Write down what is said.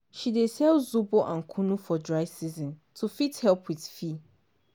she dey sell zobo and kunu for dry season to fit help with fee.